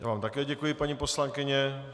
Já vám také děkuji, paní poslankyně.